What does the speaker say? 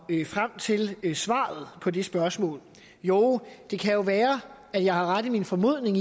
frem til svaret på det spørgsmål jo det kan jo være at jeg har ret i min formodning